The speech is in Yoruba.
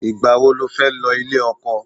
Ìgbà wo ni o fẹ́ lọ ilé ọkọ?